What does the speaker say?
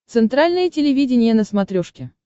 центральное телевидение на смотрешке